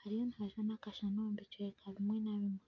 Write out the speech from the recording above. hariyo nihajwa nakashana omubicweka bimwe na bimwe .